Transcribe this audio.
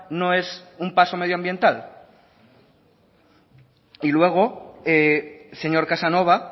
no es un paso medioambiental y luego señor casanova